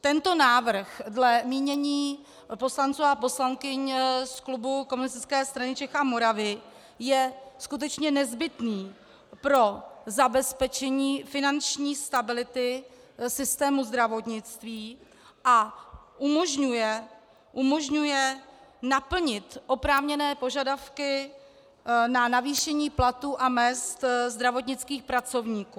Tento návrh dle mínění poslanců a poslankyň z klubu Komunistické strany Čech a Moravy je skutečně nezbytný pro zabezpečení finanční stability systému zdravotnictví a umožňuje naplnit oprávněné požadavky na navýšení platů a mezd zdravotnických pracovníků.